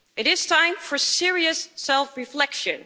It is time for serious self-reflection.